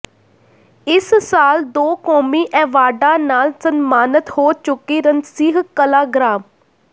ਇਸ ਸਾਲ ਦੋ ਕੌਮੀ ਐਵਾਰਡਾਂ ਨਾਲ ਸਨਮਾਨਤ ਹੋ ਚੁੱਕੀ ਰਣਸੀਂਹ ਕਲਾਂ ਗ੍ਰਾਮ